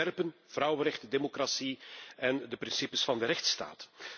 Zij verwerpen vrouwenrechten, democratie en de principes van de rechtsstaat.